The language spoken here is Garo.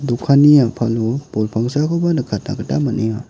dokanni a·palo bol pangsakoba nikatna gita man·enga.